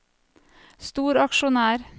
storaksjonær